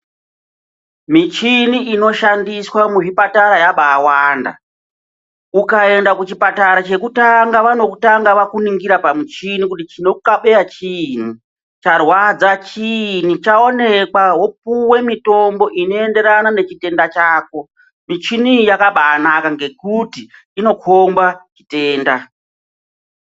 Michini inoshandiswa muzvipatara yabaawanda. Ukaenda kuchipatara chekutanga vanokutanga vakuningira pamuchini kuti chinokukabeya chiini. Charwadza chiini .Chaonekwa wopuve mitombo inoenderana nechitenda chako .Michini iyi yakabaanaka ngekuti inokhomba chitenda.